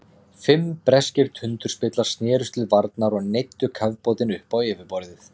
Fimm breskir tundurspillar snerust til varnar og neyddu kafbátinn upp á yfirborðið.